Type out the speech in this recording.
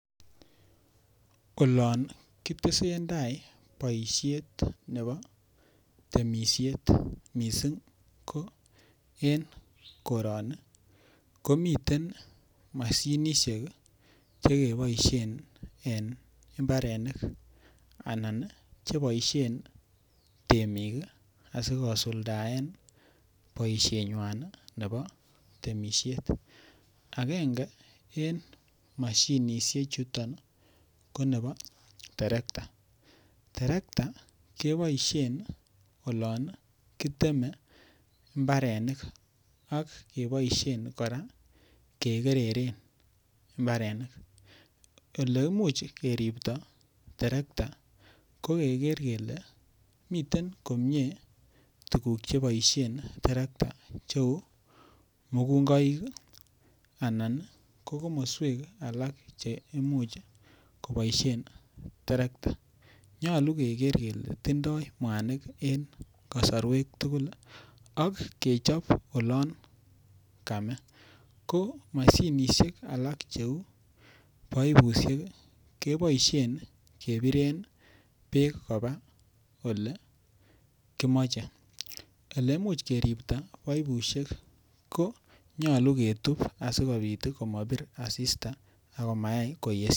olon kitesentai boisheet nebo temisyet mising ko en koroni komiten moshinisyeek chegeboishen en imbareniik anan cheboisheen temiik asigosuldaen boishenywaan nebo temisyeet, agenge en moshinisyeek chutonko nebo , terekta keboishen olon kiteme imbarenik ak keboishen kora kegereren imbarenik, eleimuch keribto terekta ko kegeer komyee kele miten tuguk cheboishen terekta cheuu mugungoik anan ko komosweek alak cheimuch koboishen terekta, nyolu kegeer kele tindoo mwaniik kosorweek tugl ak kechob oloon kamee, ko moshinisyek alak cheuu boibusyeek iih keboisheen kebireen beek koba olegimoche, eleimuch keripto boibusyeek iih ko nyolu ketuub asimobir asista agomait koyesyo